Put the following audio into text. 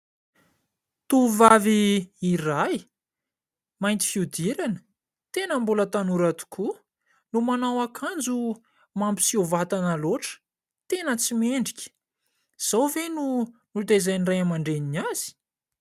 Tovovavy iray mainty fihodirana tena mbola tanora tokoa no manao akanjo mampiseho vatana loatra. Tena tsy mendrika ! izao ve no nitaizan'ny ray aman-dreny azy ?